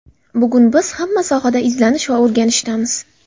Bugun biz hamma sohada izlanish va o‘rganishdamiz.